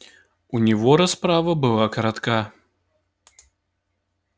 у него расправа была коротка